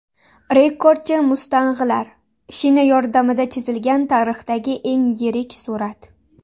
Rekordchi Mustang‘lar: Shina yordamida chizilgan tarixdagi eng yirik surat!